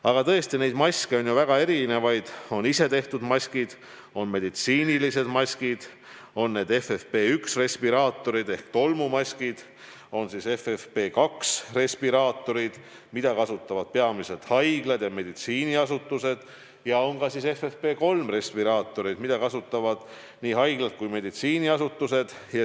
Aga tõesti, maske on ju väga erinevaid: on isetehtud maskid, on meditsiinilised maskid, on FFP1 respiraatorid ehk tolmumaskid, on FFP2 respiraatorid, mida kasutavad peamiselt haiglad ja meditsiiniasutused, ja on ka FFP3 respiraatorid, mida kasutavad nii haiglad kui ka meditsiiniasutused.